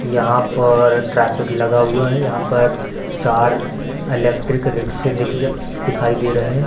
यहाँ पर ट्रैफिक लगा हुआ है यहाँ पर चार इलेक्ट्रिक रिक्शे दिखज दिखाई दे रहे।